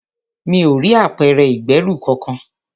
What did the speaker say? Mi ò rí apẹ̀rẹ̀ ìgbẹ́rù kọkàn.